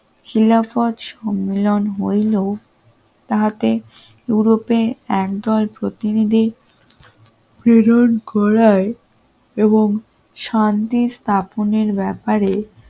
লীলাবত সম্মেলন হইল তাতে ইউরোপে একদল প্রতিনিধ ির প্রেরণ করার এবং শান্তির স্থাপনের ব্যাপারে